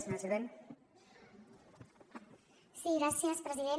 sí gràcies president